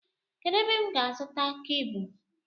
Kedụ ebe m ga-azuta kebụl?